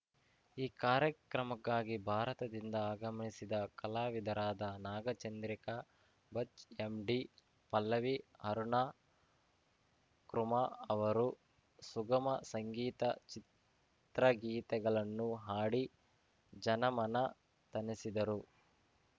ಈ ಕಾರ್ಯಕ್ರಮಕ್ಕಾಗಿ ಭಾರತದಿಂದ ಆಗಮಿಸಿದ್ದ ಕಲಾವಿದರಾದ ನಾಗಚಂದ್ರಿಕಾ ಭಚ್‌ ಎಂಡಿ ಪಲ್ಲವಿ ಅರುಣ ಕುರ್ಮಾ ಅವರು ಸುಗಮ ಸಂಗೀತ ಚಿತ್ರಗೀತೆಗಳನ್ನು ಹಾಡಿ ಜನಮನ ತಣಿಸಿದರು